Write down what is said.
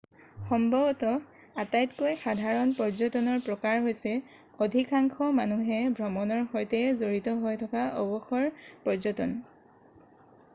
সম্ভৱতঃ আটাইতকৈ সাধাৰণ পৰ্য্যটনৰ প্ৰকাৰ হৈছে অধিকাংশ মানুহে ভ্ৰমণৰ সৈতে জড়িত হৈ থকা অৱসৰ পৰ্য্যটন